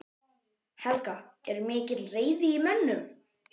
Helga: Er mikil reiði í mönnum?